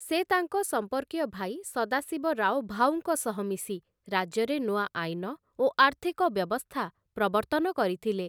ସେ ତାଙ୍କ ସମ୍ପର୍କୀୟ ଭାଇ ସଦାଶିବରାଓ ଭାଉଙ୍କ ସହ ମିଶି ରାଜ୍ୟରେ ନୂଆ ଆଇନ ଓ ଆର୍ଥିକ ବ୍ୟବସ୍ଥା ପ୍ରବର୍ତ୍ତନ କରିଥିଲେ ।